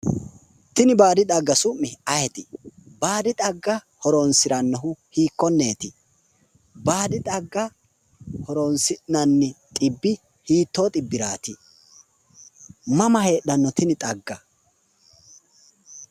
Tini baadi xagga su'mi ayeeti ? Baadi xagga horonsiranohu hiikkoneti? Baadi xagga horonsi'nannihu hiittoho xibbirati ? Mama heedhano tini xagga?